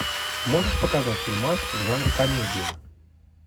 можешь показать фильмас в жанре комедия